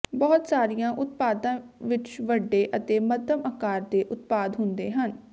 ਬਹੁਤ ਸਾਰੀਆਂ ਉਤਪਾਦਾਂ ਵਿਚ ਵੱਡੇ ਅਤੇ ਮੱਧਮ ਆਕਾਰ ਦੇ ਉਤਪਾਦ ਹੁੰਦੇ ਹਨ